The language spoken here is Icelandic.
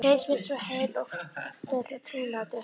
Heimsmynd svo heil og full af trúnaðartrausti.